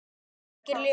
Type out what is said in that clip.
Kveikir ljós.